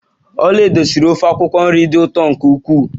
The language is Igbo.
Olaedo siri ofe akwukwo nri dị ụtọ nke ukwuu